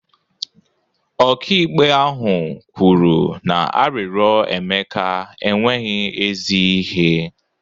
Ọkaikpe ahụ kwuru na arịrịọ Emeka enweghị ezi ihe